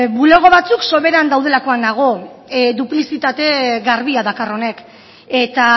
bulego batzuk soberan daudelakoan nago duplizitate garbia dakar honek eta